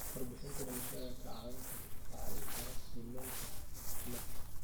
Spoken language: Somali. Warbixinnada dhimashada ayaa kaa caawin kara qiimaynta caafimaadka.